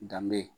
Danbe